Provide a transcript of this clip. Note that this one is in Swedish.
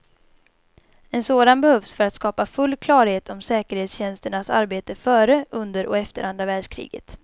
En sådan behövs för att skapa full klarhet om säkerhetstjänsternas arbete före, under och efter andra världskriget.